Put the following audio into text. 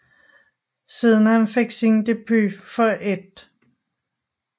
Siden han fik sin debut for 1